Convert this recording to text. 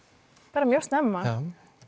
bara mjög snemma